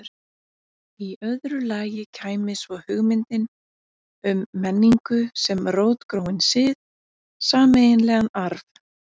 Í öðru lagi kæmi svo hugmyndin um menningu sem rótgróinn sið, sameiginlegan arf.